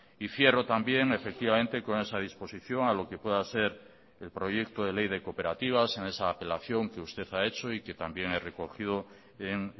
y cierro también efectivamente con esa disposición a lo que pueda ser el proyecto de ley de cooperativas en esa apelación que usted ha hecho y que también he recogido en